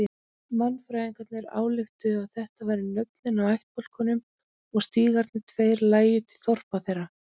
Mannfræðingarnir ályktuðu að þetta væru nöfnin á ættbálkunum og stígarnir tveir lægju til þorpa þeirra.